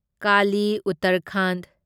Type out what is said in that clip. Kali Uttarakhand